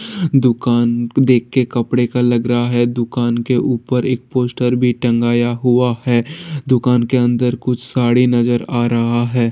दुकान देख के कपड़े का लग रहा है| दुकान के ऊपर एक पोस्टर भी टँगाया हुआ है | दुकान के अंदर कुछ साड़ी नजर आ रहा है।